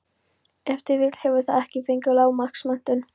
Ef til vill hefur það ekki fengið lágmarksmenntun.